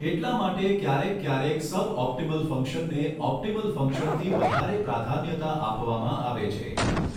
એટલા માટે ક્યારેક ક્યારેક સબઓપટીમલ ફંક્શનને ઓપટીમલ ફંક્શનથી વધારે પ્રાધાન્યતા આપવામાં આવે છે.